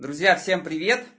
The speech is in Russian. друзья всем привет